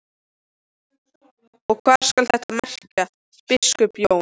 Og hvað skal þetta merkja, biskup Jón?